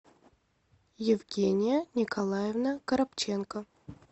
евгения николаевна коробченко